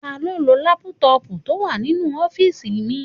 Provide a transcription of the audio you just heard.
Taló n lo lápútọ̀pù tó wà nínú ọ́fìsì mi?